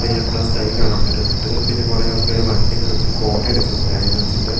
മെയിനായിട്ടുള്ള സ്കൈ കാണാൻ പറ്റുന്നുണ്ട് പിന്നെ കുറെ ആൾക്കാർ വണ്ടി നിർത്തി ഫോട്ടോ എടുക്കുന്നുണ്ട് അനിമൽസിന്റെ .